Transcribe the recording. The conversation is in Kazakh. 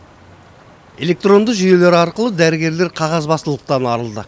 электронды жүйелер арқылы дәрігерлер қағазбастылықтан арылды